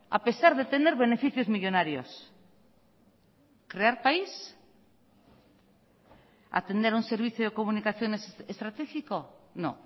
a pesar de tener beneficios millónarios crear país atender un servicio de comunicaciones estratégico no